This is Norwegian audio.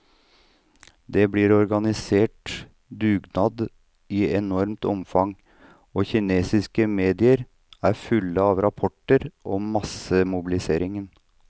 Det blir organisert dugnader i enormt omfang, og kinesiske medier er fulle av rapporter om massemobiliseringen.